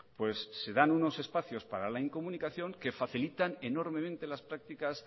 pues se dan unos espacios para la incomunicación que facilitan enormemente las prácticas